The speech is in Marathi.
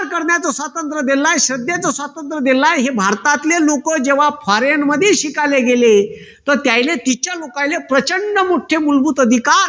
करण्याचं स्वातंत्र दिलेल आहे, श्रद्धेचं स्वातंत्र दिलेलं आहे हे भारतातले लोक जेव्हा foreign मध्ये शिकायला गेले तर त्यानले तिच्या लोकायले प्रचंड मुख्य मूलभूत अधिकार